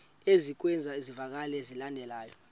ezikwezi zivakalisi zilandelayo